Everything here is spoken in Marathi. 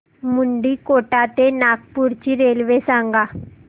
मुंडीकोटा ते नागपूर ची रेल्वे सांगा